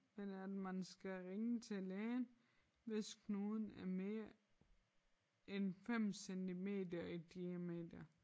Men at man skal ringe til lægen hvis knuden er mere end 5 centimeter i diameter